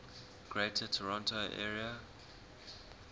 greater toronto area